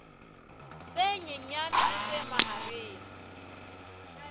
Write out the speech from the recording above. tse nyenyane le tse mahareng